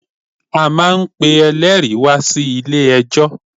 A máa n pe eléèri wá sí ilé ẹjọ̀